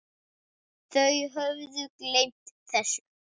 Þau höfðu gleymt þessu.